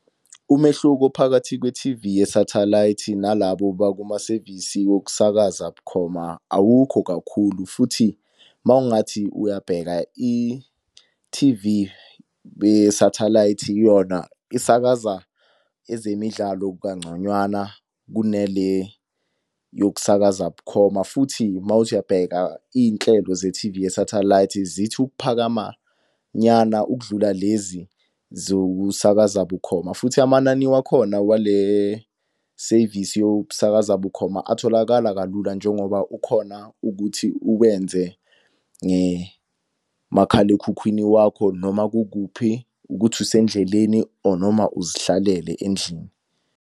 Umehluko phakathi kwe-T_V yesathalayithi nalabo bakumasevisi wokusakaza bukhoma awukho kakhulu futhi, uma ungathi uyabheka i-T_V yesathalayithi yona isakaza ezemidlalo kangconywana kunale yokusakaza bukhoma. Futhi uma uthi uyabheka iy'nhlelo ze-T_V yesathalayithi zithi ukuphakamanyana ukudlula lezi zokusakaza bukhoma. Futhi amanani wakhona wale sevisi yokusakaza bukhoma atholakala kalula njengoba ukhona ukuthi ukwenze ngemakhalekhukhwini wakho noma kukuphi ukuthi usendleleni or noma uzihlalele endlini.